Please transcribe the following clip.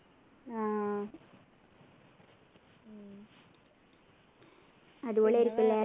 ആഹ് അടിപൊളി ആയിരിക്കും ല്ലേ